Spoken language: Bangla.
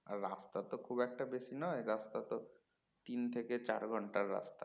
আর রাস্তা তো খুব একটা বেশি নয় রাস্তা তো তিন থেকে চার ঘন্টার রাস্তা